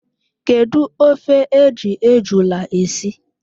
Kedu ofe e ji ejula esi?